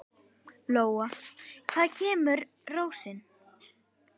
Lóa: Hvaðan kemur rósin?